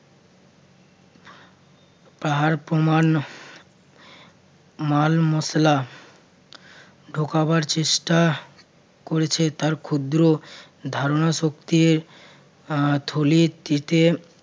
পাহাড় প্রমাণ মাল-মশলা ঢোকাবার চেষ্টা করেছে তার ক্ষুদ্র ধারণা শক্তির আহ থলি থেকে